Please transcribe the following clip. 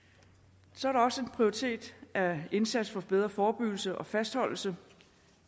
så er der også en prioritet af indsats for bedre forebyggelse og fastholdelse